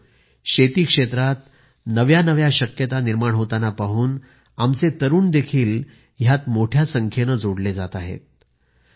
मित्रांनो शेती क्षेत्रात नव्या नव्या शक्यता निर्माण होताना पाहून आमचे तरुण देखील ह्यात मोठ्या संख्येने जोडले जात आहेत